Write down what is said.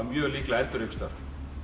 mjög líklega eldur einhvers staðar